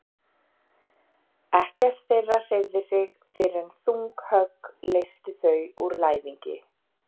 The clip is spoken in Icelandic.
Ekkert þeirra hreyfði sig fyrr en þung högg leystu þau úr læðingi.